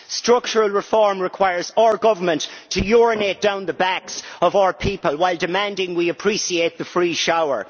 Structural reform requires our government to urinate down the backs of our people while demanding we appreciate the free shower.